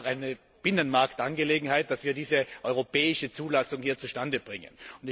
Darum ist es auch eine Binnenmarktangelegenheit, dass wir diese europäische Zulassung hier zustandebringen.